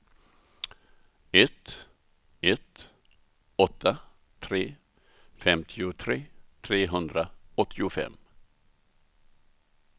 ett ett åtta tre femtiotre trehundraåttiofem